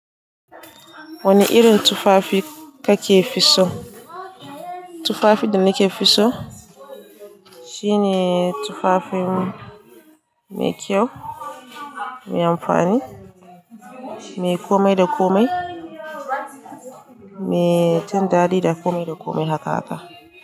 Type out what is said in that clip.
Wani irin tufafi kake fi so? Tufafi da nike fitso shine tufafin mai kyau, mai amfani, mai kome da kome, mai jin dadi da kome da kome haka haka.